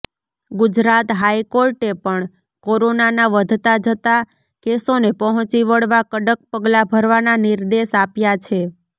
ગુજરાત હાઈકોર્ટે પણ કોરોનાના વધતા જતા કેસોને પહોંચી વળવા કડક પગલા ભરવાના નિર્દેશ આપ્યા છે